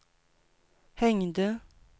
hängde